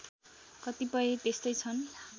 कतिपय त्यस्तै छन्